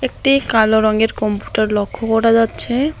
একটি কালো রঙের কম্পুটার লক্ষ্য করা যাচ্ছে।